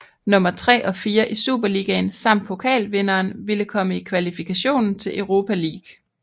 Nummer 3 og 4 i Superligaen samt pokalvinderen ville komme i kvalifikationen til Europa League